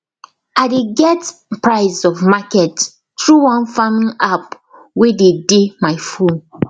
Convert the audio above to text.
i dey get price of market through one farming app wey dey dey my phone